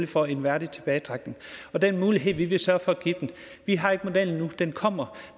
for en værdig tilbagetrækning og den mulighed vil vi sørge for at give dem vi har ikke modellen nu den kommer